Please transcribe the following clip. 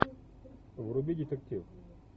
вруби детектив